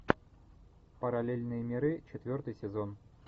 параллельные миры четвертый сезон